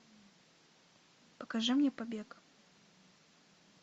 покажи мне побег